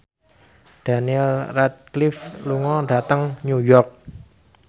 Daniel Radcliffe lunga dhateng New York